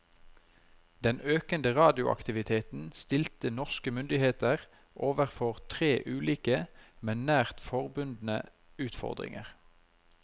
Den økende radioaktiviteten stilte norske myndigheter overfor tre ulike, men nært forbundne utfordringer.